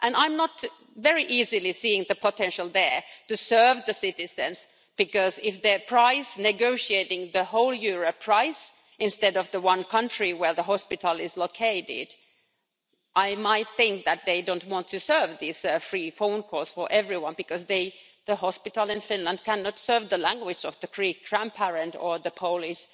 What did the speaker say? I don't very easily see the potential there to serve the citizens, because if they're negotiating the whole euro price, instead of the one country where the hospital is located, I might think that they don't want to serve these free phone calls for everyone, because the hospital in Finland cannot serve the language of the Greek grandparent or the Polish